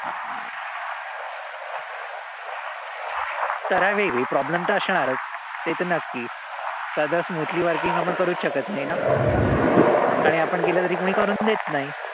problem तर असणारच. ते त नक्की. असं smoothly working आपण करूच शकत नाई ना. आणि आपण केलं त कोणी करून देत नाई.